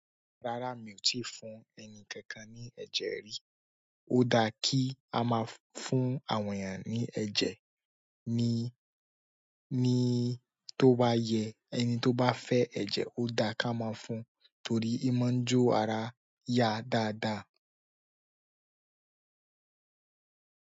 Rárá mi ò tí fún ẹni kankan ní ẹ̀jẹ̀ rí. Ó da kí a máa fún àwọn ènìyàn ní ẹ̀jẹ̀ ni ní tó bá yẹ. Ẹni tó bá fẹ́ ẹ̀jẹ̀ ó da ká máa fún torí í máa ń jó ara yá dáadáa.